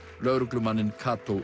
lögreglumanninn